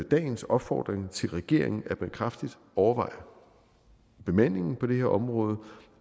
dagens opfordring til regeringen at man kraftigt overvejer bemandingen på det her område